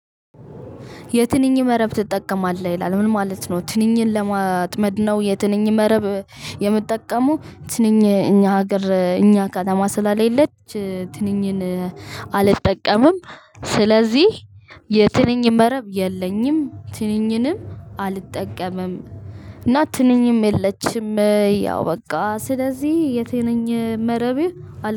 የትንኝ መረብ ትጠቀማለህ ይላል ምን ማለት ነው? ትንኝን ለማጥመድ ነው የትንኝ መረብ የምጠቀመው። ትንኝ እኛ ሀገር እኛ ከተማ ስለለች ትንኝን አልጠቀምም። ስለዚህ የትንኝ መረብ የለኝም። ትንኝንም አልጠቀምም። እና ትንኝም የለችም። ያው በቃ ስለዚህ የትንኝ መረብ